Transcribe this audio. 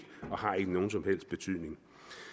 nogen som helst betydning